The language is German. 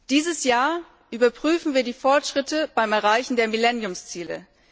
Dieses Jahr überprüfen wir die Fortschritte beim Erreichen der Millenniumsziele.